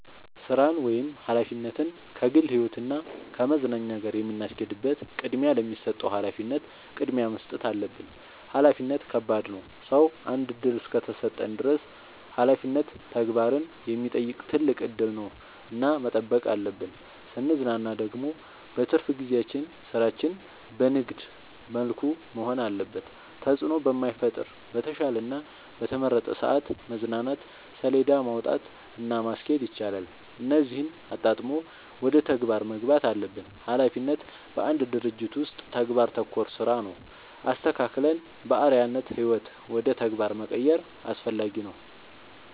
ስራን ወይም ሀላፊነትን ከግል ህይወት እና ከመዝናኛ ጋር የምናስኬድበት ቅድሚያ ለሚሰጠው ሀላፊነት ቅድሚያ መስጠት አለብን። ሀላፊነት ከባድ ነው ሰው አንድ እድል እስከሰጠን ድረስ ሀላፊነት ተግባርን የሚጠይቅ ትልቅ እድል ነው እና መጠበቅ አለብን። ስንዝናና ደግሞ በትርፍ ጊዜያችን ስራችን በንግድ መልኩ መሆን አለበት ተጽዕኖ በማይፈጥር በተሻለ እና በተመረጠ ሰዐት መዝናናት ሴለዳ ማውጣት እና ማስኬድ ይቻላል እነዚህን አጣጥሞ ወደ ተግባር መግባት አለብን። ሀላፊነት በአንድ ድርጅት ውስጥ ተግባር ተኮር ስራ ነው። አስተካክለን በአርዐያነት ህይወት ውደ ተግባር መቀየር አስፈላጊ ነው።